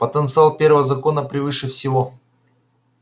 потенциал первого закона превыше всего